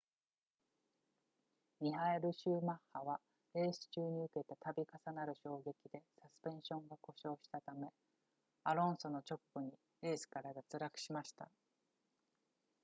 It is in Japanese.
ミハエルシューマッハはレース中に受けた度重なる衝撃でサスペンションが故障したためアロンソの直後にレースから脱落しました